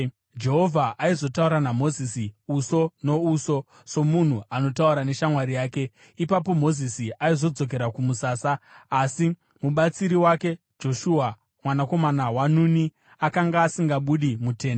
Jehovha aizotaura naMozisi uso nouso, somunhu anotaura neshamwari yake. Ipapo Mozisi aizodzokera kumusasa, asi mubatsiri wake Joshua mwanakomana waNuni akanga asingabudi mutende.